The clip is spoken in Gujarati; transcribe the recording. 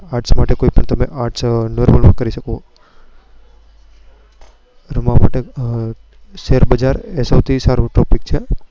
arts કોઈ પણ તમે arts રમવા માટે શેરબજાર એ સૌથી સારો Topic છે.